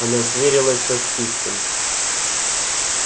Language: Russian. она сверилась со списком